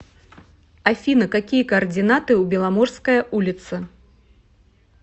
афина какие координаты у беломорская улица